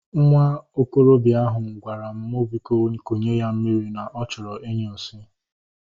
Nwa okorobịa ahụ gwara m mụ biko kunye ya mmiri na ọ chọrọ inyu nsị